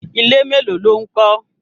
Ilé mélòó ló ń kọ́?